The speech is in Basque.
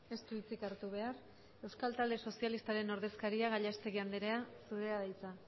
ez du hitzik hartu behar euskal talde sozialistaren ordezkaria gallastegui andrea zurea da hitza